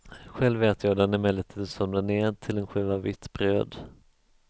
Själv äter jag den emellertid som den är till en skiva vitt bröd.